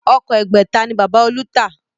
Ọkọ̀ ẹgbẹ̀ta ni Bàbá olú ta